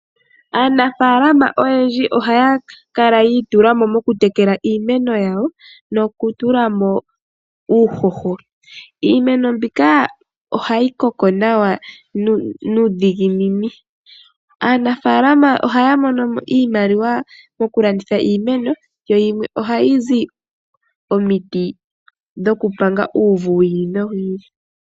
Aanafalama oyendji ohaya kala yi itulamo moku tekela iimeno yawo noku tulamo uuhoho. Iimeno mbika ohayi koko nawa nuudhiginini, aanafalama ohaya monomo iimaliwa moku landitha iimeno yo yimwe ohayi zi omiti dhoku panga uvu wu ili nowu ili.